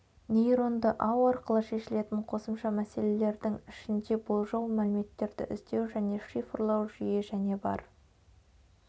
нейронды ау арқылы шешілетін қосымша мәселелердің ішінде болжау мәліметтерді іздеу және шифрлау жүйе және бар